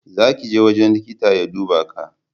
Za ki je wajen liƙitan ya duba Ka!